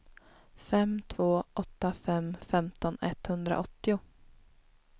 fem två åtta fem femton etthundraåttio